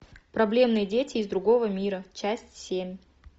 проблемные дети из другого мира часть семь